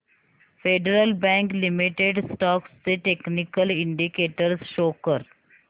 federal bank limited stocks चे technical indicators show कर